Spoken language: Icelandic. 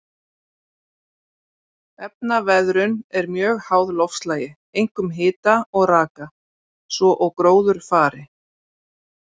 Efnaveðrun er mjög háð loftslagi, einkum hita og raka, svo og gróðurfari.